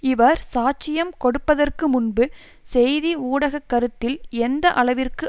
இவர் சாட்சியம் கொடுப்பதற்கு முன்பு செய்தி ஊடக கருத்தில் எந்த அளவிற்கு